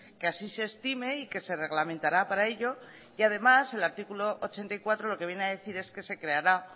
que así se estime y quese reglamentará para ello y además el artículo ochenta y cuatro lo que viene a decir es que se creará